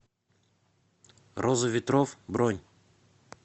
роза ветров бронь